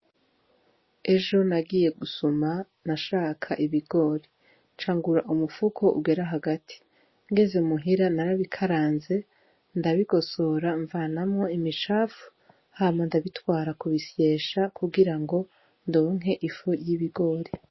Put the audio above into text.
Ejo nagiye gusuma nashaka ibigori ca ngura umufuko ugera hagati, ngeze muhira narabikaranze ndabigosora mvanamwo imicafu hama ndabitwara kubisyesha kugira ngo ndonke ifu y'ibigori.